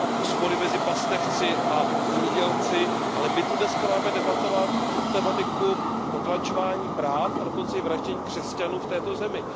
spory mezi pastevci a zemědělci, ale my zde dnes máme debatovat tématiku potlačování práv a dokonce i vraždění křesťanů v této zemi.